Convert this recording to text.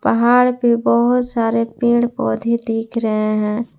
पहाड़ पे बहुत सारे पेड़ पौधे दिख रहे है।